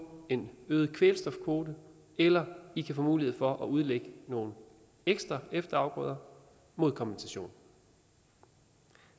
en øget kvælstofkvote eller i kan få mulighed for at udlægge nogle ekstra efterafgrøder mod kompensation